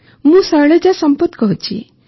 ମୁଁ ଶୈଳଜା ସମ୍ପତ୍ କହୁଛି